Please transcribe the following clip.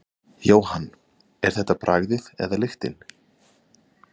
Jóhann: Er þetta bragðið eða lyktin?